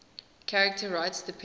charter rights depend